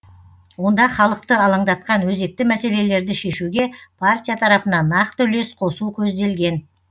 онда халықты алаңдатқан өзекті мәселелерді шешуге партия тарапынан нақты үлес қосу көзделген